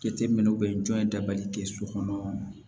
Jateminɛw bɛ yen jɔn dabali tɛ so kɔnɔ